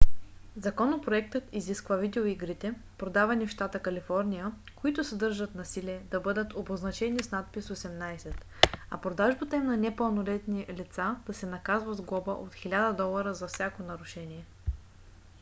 законопроектът изисква видеоигрите продавани в щата калифорния които съдържат насилие да бъдат обозначени с надпис 18 а продажбата им на непълнолетни лица да се наказва с глоба от 1000 долара за всяко нарушение